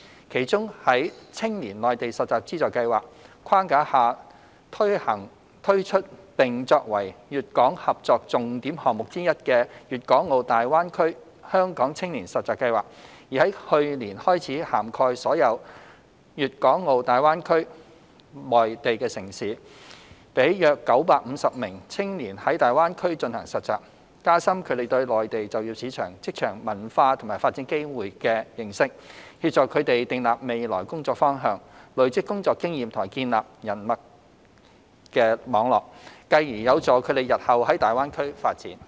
其中，在青年內地實習資助計劃框架下推出並作為粵港合作重點項目之一的粵港澳大灣區香港青年實習計劃已在去年開始涵蓋所有粵港澳大灣區內地城市，讓約950名青年在大灣區進行實習，加深他們對內地就業市場、職場文化及發展機會的認識，協助他們訂立未來工作方向、累積工作經驗和建立人脈網絡，繼而有助他們日後在大灣區發展。